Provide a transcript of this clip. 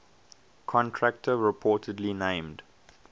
contractor reportedly named